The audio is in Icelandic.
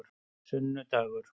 sunnudagar